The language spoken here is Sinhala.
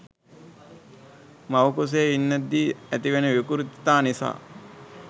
මව් කුසේ ඉන්දැද්දි ඇතිවෙන විකෘතිතා නිසා.